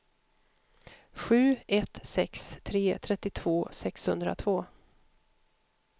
sju ett sex tre trettiotvå sexhundratvå